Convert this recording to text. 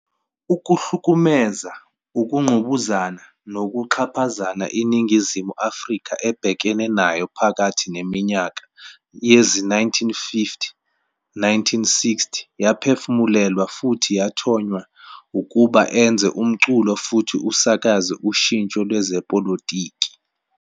Ukuhlukumeza, ukungqubuzana nokuxhaphaza iNingizimu Afrika ebhekene nayo phakathi neminyaka yezi-1950 ne-1960 yaphefumulelwa futhi yathonya ukuba enze umculo futhi usakaze ushintsho lwezepolitiki.